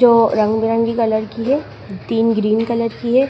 जो रंग-बिरंगी कलर की है तीन ग्रीन कलर की है